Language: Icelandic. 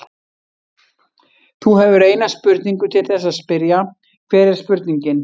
Þú hefur eina spurningu til þess að spyrja, hver er spurningin?